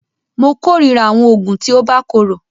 Mó kòrira àwọn oògùn tí o bá korò.